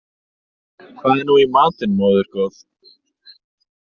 Hvað er nú í matinn, móðir góð?